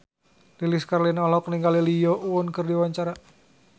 Lilis Karlina olohok ningali Lee Yo Won keur diwawancara